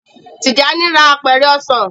Tijani rà Apẹ̀rẹ̀ ọsán.